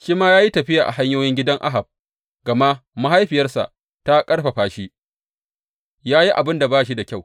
Shi ma ya yi tafiya a hanyoyin gidan Ahab, gama mahaifiyarsa ta ƙarfafa shi yă yi abin da ba shi da kyau.